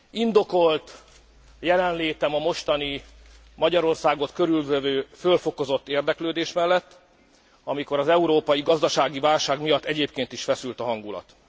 Indokolt jelenlétem a mostani, Magyarországot körülvevő fölfokozott érdeklődés mellett, amikor az európai gazdasági válság miatt egyébként is feszült a hangulat.